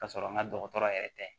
Ka sɔrɔ n ka dɔgɔtɔrɔ yɛrɛ tɛ